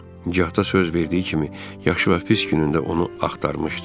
Hətta söz verdiyi kimi yaxşı və pis günündə onu axtarmışdı.